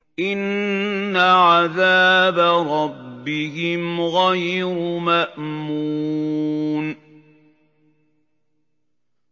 إِنَّ عَذَابَ رَبِّهِمْ غَيْرُ مَأْمُونٍ